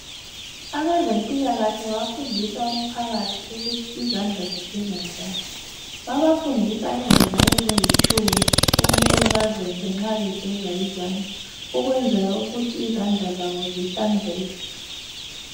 Abezempilakahle bafundisa umphakathi ukuthi izandla zigeza njani babafundisa indlela ezingutshumi okumele aziyenze nxa begeza izandla ukwenzela ukuthi izandla zabo zihlanzeke